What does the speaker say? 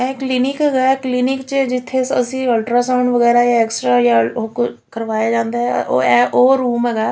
ਇਹ ਕਲੀਨਿਕ ਹੈਗਾ ਕਲੀਨਿਕ ਵਿੱਚ ਜਿੱਥੇ ਅਸੀਂ ਅਲਟਰਾ ਸਾਊਂਡ ਵਗੈਰਾ ਜਾਂ ਐਕਸਰਾ ਜਾਂ ਉਹ ਕਰਵਾਇਆ ਜਾਂਦਾ ਆ ਉਹ ਰੂਮ ਹੈਗਾ।